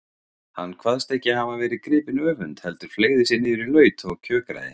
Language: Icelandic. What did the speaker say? Hann kvaðst ekki hafa verið gripinn öfund heldur fleygði sér niður í laut og kjökraði.